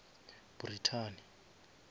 brithani